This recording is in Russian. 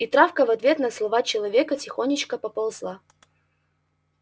и травка в ответ на слова человека тихонечко поползла